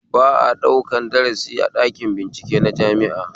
Ba a ɗaukan darasi a ɗakin bincike na jami'a